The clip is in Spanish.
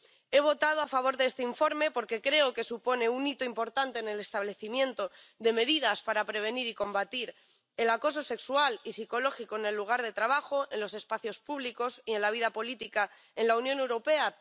He votado a favor de este informe porque creo que supone un hito importante en el establecimiento de medidas para prevenir y combatir el acoso sexual y psicológico en el lugar de trabajo, en los espacios públicos y en la vida política en la Unión Europea.